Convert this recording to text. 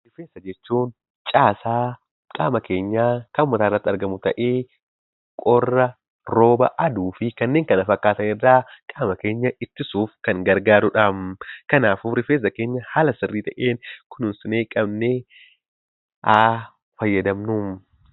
Rifeensa jechuun caasaa qaama keenyaa kan mataa irratti argamu ta'ee, qorra, rooba, aduu fi kanneen kana fakkaatan irraa qaama keenya ittisuuf kan gargaarudha. Kanaafuu rifeensa keenya haala sirrii ta'een, kunuunsinee qabnee haa fayyadamnu.